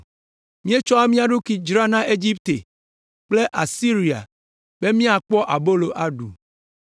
Míetsɔ mía ɖokui dzra na Egipte kple Asiria be míakpɔ abolo aɖu.